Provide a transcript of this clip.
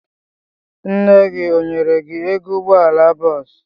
Nne gị ọ nyere gi ego ụgbọala bọọsụ?